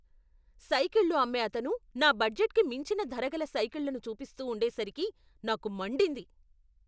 సైకిళ్ళు అమ్మే అతను నా బడ్జెట్కి మించిన ధరగల సైకిళ్లను చూపిస్తూ ఉండేసరికి నాకు మండింది.